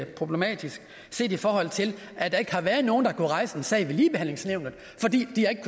problematisk set i forhold til at der ikke har været nogen der har kunnet rejse en sag ved ligebehandlingsnævnet fordi de